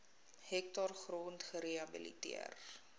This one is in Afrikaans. hektaar grond gerehabiliteer